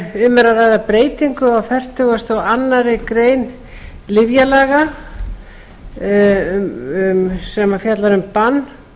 um er að ræða breytingu á fertugasta og aðra grein lyfjalaga sem fjallar um bann